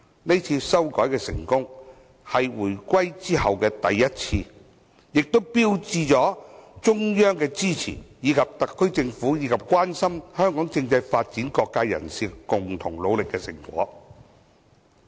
這是回歸後首次成功修改，更標誌着中央的支持，以及特區政府和關心香港政制發展的各界人士共同努力的成果。